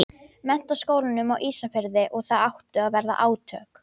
Menntaskólanum á Ísafirði og það áttu að verða átök.